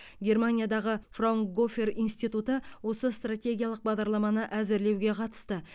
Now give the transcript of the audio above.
германиядағы фраунгофер институты осы стратегиялық бағдарламаны әзірлеуге қатысты